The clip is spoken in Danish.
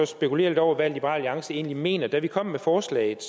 spekulere lidt over hvad liberal alliance egentlig mener da vi kom med forslaget